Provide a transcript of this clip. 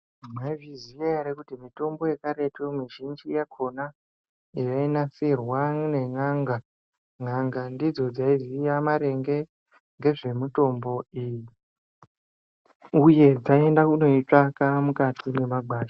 Maizviziva here kuti mitombo yekaretu mizhinji yakona yainasirwa nen'a nga ,n'anga dzidzo dzaiziva maringe nemitombo iyi uye dzaienda kuitsvaka mukati memagwasha.